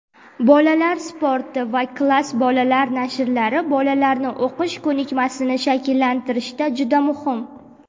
"Bolalar sporti" va "Klass" bolalar nashrlari bolalarni o‘qish ko‘nikmasini shakllantirishda juda muhim.